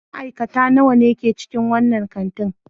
Ma'aikata nawa ne ke cikin wannan kanti?